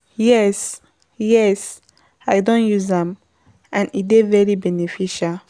yes, yes, i don use am, and e dey very beneficial.